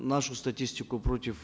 нашу статистику против